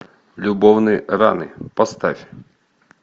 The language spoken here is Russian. любовные раны поставь